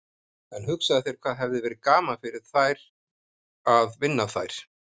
En hugsaðu þér hvað hefði verið gaman fyrir okkur að vinna þær.